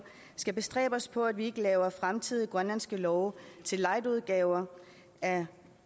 skal bestræbe os på at vi ikke laver fremtidige grønlandske love til lightudgaver